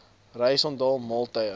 reis onthaal maaltye